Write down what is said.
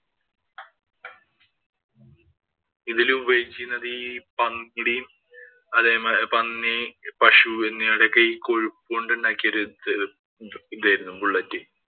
ഇതില് ഉപയോഗിച്ചിരുന്നത് ഈ പന്നിയുടെയും, പന്നി, പശു എന്നിവയുടെയൊക്കെ ഈ കൊഴുപ്പ് കൊണ്ട് ഉണ്ടാക്കിയ ഒരു ഇത് ഇതായിരുന്നു bullet.